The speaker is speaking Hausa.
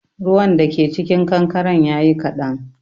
Ruwan da ke cikin kankaren yayi kaɗan